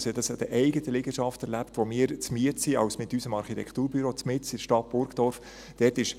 Ich erlebte dies an der eigenen Liegenschaft, wo wir mit unserem Architekturbüro inmitten der Stadt Burgdorf zur Miete sind.